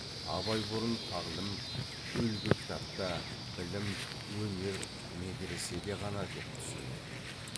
абай бұрын тағлім үлгі кітапта білім өнер медреседе ғана деп түсінетін